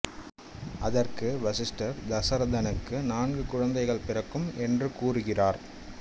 அதற்கு வசிஷ்டர் தசரதனுக்கு நான்கு குழந்தைகள் பிறக்கும் என்று கூறுகிறார்